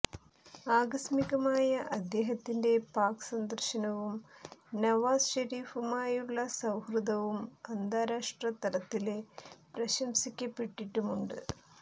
ആകസ്മികമായ അദ്ദേഹത്തിന്റെ പാക് സന്ദര്ശനവും നവാസ് ശരീഫുമായുള്ള സൌഹൃദവും അന്താരാഷ്ട്രതലത്തില് പ്രശംസിക്കപ്പെട്ടിട്ടുമുണ്ട്